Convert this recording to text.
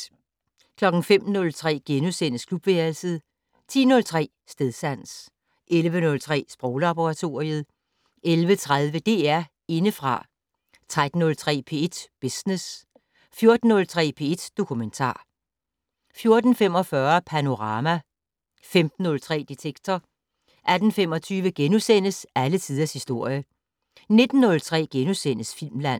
05:03: Klubværelset * 10:03: Stedsans 11:03: Sproglaboratoriet 11:30: DR Indefra 13:03: P1 Business 14:03: P1 Dokumentar 14:45: Panorama 15:03: Detektor 18:25: Alle tiders historie * 19:03: Filmland *